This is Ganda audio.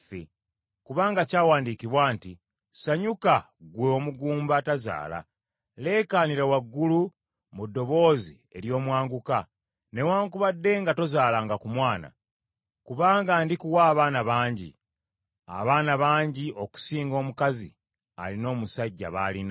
Kubanga kyawandiikibwa nti, “Sanyuka ggwe omugumba atazaala. Leekaanira waggulu mu ddoboozi ery’omwanguka newaakubadde nga tozaalanga ku mwana. Kubanga ndikuwa abaana bangi, abaana abangi okusinga omukazi alina omusajja b’alina.”